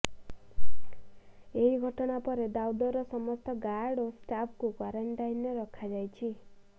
ଏହି ଘଟଣା ପରେ ଦାଉଦର ସମସ୍ତ ଗାର୍ଡ ଓ ଷ୍ଟାଫଙ୍କୁ କ୍ୱାରେଣ୍ଟାଇନରେ ରଖାଯାଇଛି